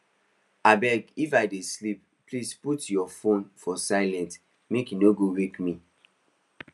abeg if i dey sleep please put your phone for silent make e no go wake me